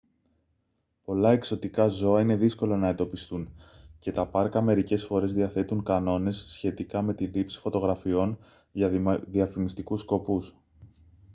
πολλά εξωτικά ζώα είναι δύσκολο να εντοπιστούν και τα πάρκα μερικές φορές διαθέτουν κανόνες σχετικά με τη λήψη φωτογραφιών για διαφημιστικούς σκοπούς